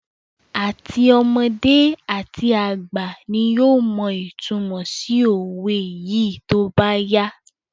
Àti ọmọdé àti àgbà ni yóò mọ ìtunmọ̀ sí òwe sí í tóbá yá